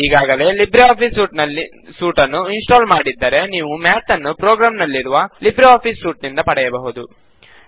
ನೀವು ಈಗಾಗಲೇ LibreOffice suite ನ್ನು ಇನ್ ಸ್ಟಾಲ್ ಮಾಡಿದ್ದರೆ ನೀವು ಮ್ಯಾತ್ ನ್ನು ಪ್ರೊಗ್ರಾಮ್ ನಲ್ಲಿರುವ ಲಿಬ್ರೆ ಆಫಿಸ್ ಸೂಟ್ ನಿಂದ ಪಡೆಯಬಹುದು